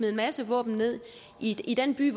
en masse våben ned i den by